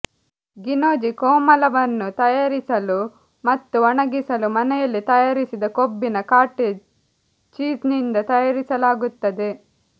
ಗಿನೊಚಿ ಕೋಮಲವನ್ನು ತಯಾರಿಸಲು ಮತ್ತು ಒಣಗಿಸಲು ಮನೆಯಲ್ಲಿ ತಯಾರಿಸಿದ ಕೊಬ್ಬಿನ ಕಾಟೇಜ್ ಚೀಸ್ನಿಂದ ತಯಾರಿಸಲಾಗುತ್ತದೆ